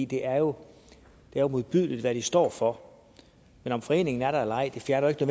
det er jo modbydeligt hvad de står for men om foreningen er der eller ej fjerner jo